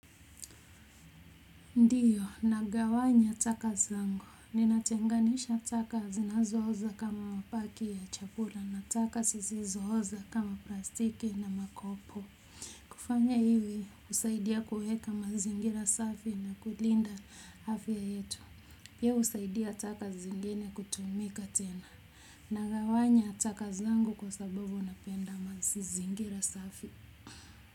Ndiyo, nagawanya taka zangu. Ninatenganisha taka zinazoza kama mabaki ya chakula na taka sisizooza kama plastiki na makopo. Kufanya ivi, husaidia kuweka mazingira safi na kulinda afya yetu. Pia husaidia taka zingine kutumika tena. Nagawanya taka zangu kwa sababu napenda mazingira safi.